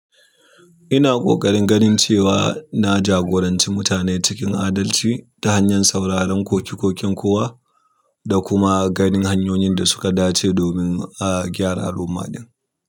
Ina ƙoƙarin ganin cewa na jagoranci mutane cikin adalci ta hanyar sauraron koke-koken kowa da kuma ganin hanyoyin da suka dace domin, a gyara al'umma ɗin.